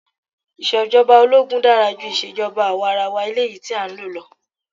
Ìṣèjọba ológun dára ju ìjọba àwarawa eléyìí tí a ń lò lọ.